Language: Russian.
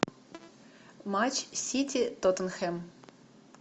матч сити тоттенхэм